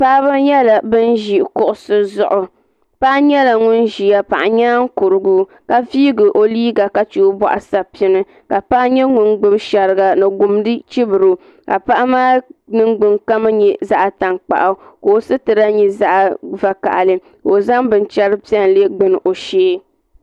Paɣaba nyɛla ban ʒi kuɣusi zuɣu paɣa nyɛla ŋun ʒia paɣa nyaankuru ka viigi o liiga ka che o boɣu sapim ka paɣa nyɛ ŋun gbibi sheriga ni gumdi n chibri o paɣa maa ningbin kama nyɛ zaɣa tankpaɣu ka o sitira nyɛ zaɣa vakahali ka o zaŋ bincheri piɛlli gbini o shee.